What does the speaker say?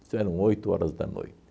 Isso eram oito horas da noite.